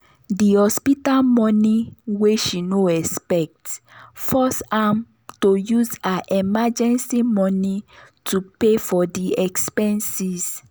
the hospital money wey she no expect force am to use her emergency money to pay for de expenses.